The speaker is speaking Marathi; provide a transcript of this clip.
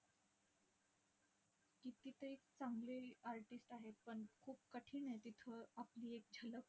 की तिथे एक चांगले artist आहेत. पण खूप कठीण आहे तिथे आपली एक झलक